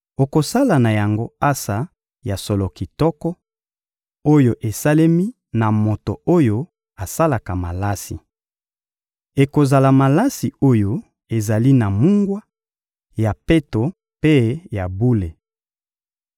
Okosala na yango ansa ya solo kitoko oyo esalemi na moto oyo asalaka malasi. Ekozala malasi oyo ezali na mungwa, ya peto mpe ya bule.